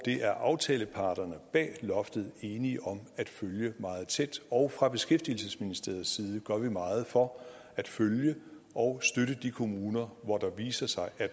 er aftaleparterne bag loftet enige om at følge meget tæt og fra beskæftigelsesministeriets side gør vi meget for at følge og støtte de kommuner hvor der viser sig at